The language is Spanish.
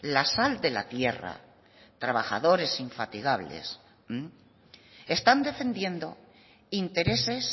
la sal de la tierra trabajadores infatigables están defendiendo intereses